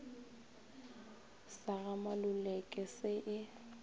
sa ga maluleke se e